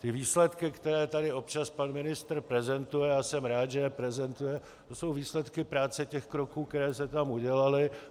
Ty výsledky, které tady občas pan ministr prezentuje, a jsem rád, že je prezentuje, to jsou výsledky práce těch kroků, které se tam udělaly.